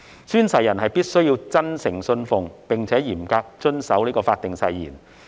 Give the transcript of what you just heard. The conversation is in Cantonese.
"宣誓人必須真誠信奉並嚴格遵守法定誓言。